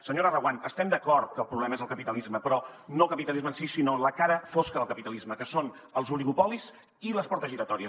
senyora reguant estem d’acord que el problema és el capitalisme però no el capitalisme en si sinó la cara fosca del capitalisme que són els oligopolis i les portes giratòries